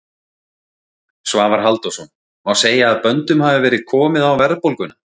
Svavar Halldórsson: Má segja að böndum hafi verið komið á verðbólguna?